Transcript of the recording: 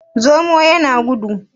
zomo ya da gudu?